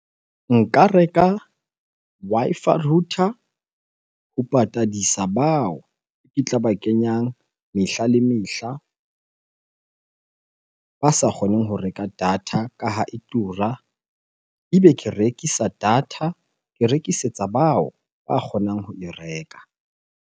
Nka reka Wi-Fi router ho patadisa bao ke tla ba kenyang mehla le mehla, ba sa kgoneng ho reka data ka ha e tura. Ebe ke rekisa data, ke rekisetsa bao ba kgonang ho e reka.